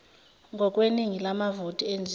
ngokweningi lamavoti enziwe